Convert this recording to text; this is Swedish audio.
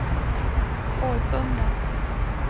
Årsunda